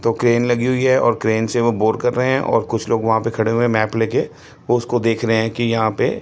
दो क्रेन लगी हुई है और क्रेन से वो बोर कर रहे हैं और कुछ लोग वहां पर खड़े हुए मैप लेके उसको देख रहे हैं कि यहां पे--